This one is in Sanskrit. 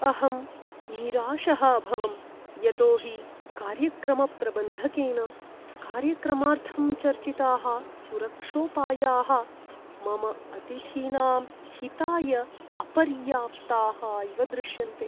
अहं निराशः अभवं यतो हि कार्यक्रमप्रबन्धकेन कार्यक्रमार्थं चर्चिताः सुरक्षोपायाः मम अतिथीनां हिताय अपर्याप्ताः इव दृश्यन्ते।